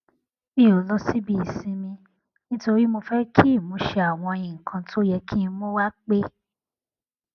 mi ò lọ síbi ìsinmi nítorí mi ò fẹ kí ìmúṣẹ àwọn nǹkan tó yẹ kí n mú wá pé